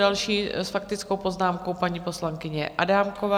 Další s faktickou poznámkou, paní poslankyně Adámková.